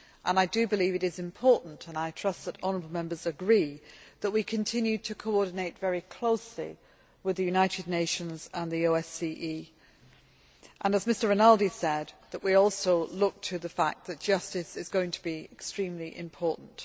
I believe that it is important, and I trust that honourable Members agree, that we continue to coordinate very closely with the United Nations and the OSCE and, as Mr Rinaldi said, that we also look to the fact that justice is going to be extremely important.